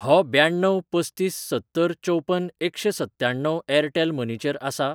हो ब्याण्णव पस्तीस सत्तर चवपन एकशेंसत्त्याण्णव ऍरटेल मनी चेर आसा?